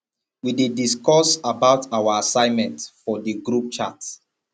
we dey discuss about our assignment for di group chat